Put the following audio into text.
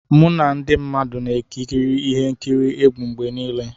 Mụ na ndị mmadụ na-ekiri ihe nkiri egwu mgbe niile.